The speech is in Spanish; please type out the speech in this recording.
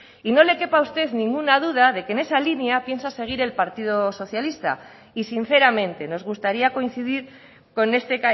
y no le quepa a usted ninguna duda de que en esa línea piensa seguir el partido socialista y sinceramente nos gustaría coincidir con este